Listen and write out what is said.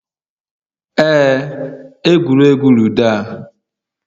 Ee, egwuregwu ludo a